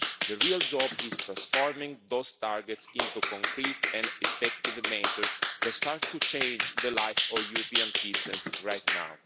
The real job is transforming those targets into concrete and effective measures that start to change life for European citizens right now.